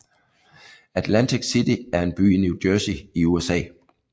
Atlantic City er en by i New Jersey i USA